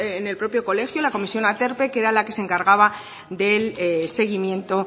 en el propio colegio la comisión aterpe que era la que se encargaba del seguimiento